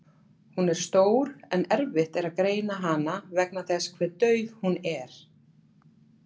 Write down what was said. Hún er stór en erfitt er að greina hana vegna þess hve dauf hún er.